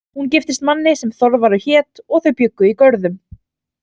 Hún giftist manni sem Þorvarður hét og þau bjuggu í Görðum.